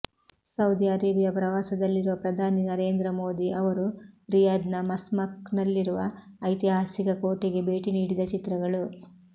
Saudi Arabia ಪ್ರವಾಸದಲ್ಲಿರುವ ಪ್ರಧಾನಿ ನರೇಂದ್ರ ಮೋದಿ ಅವರು ರಿಯಾದ್ನ ಮಸ್ಮಕ್ ನಲ್ಲಿರುವ ಐತಿಹಾಸಿಕ ಕೋಟೆಗೆ ಭೇಟಿ ನೀಡಿದ ಚಿತ್ರಗಳು